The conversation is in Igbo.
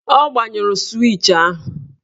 Ọ gbanyụrụ swịch ahụ